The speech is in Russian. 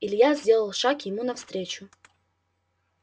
илья сделал шаг ему навстречу